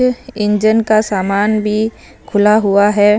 यह इंजन का सामान भी खुला हुआ है।